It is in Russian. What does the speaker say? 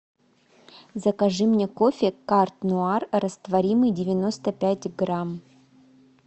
закажи мне кофе карт нуар растворимый девяносто пять грамм